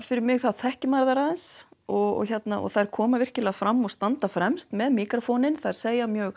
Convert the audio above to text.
fyrir mig þá þekki maður þær aðeins og þær koma virkilega fram og standa fremst með míkrófóninn þær segja mjög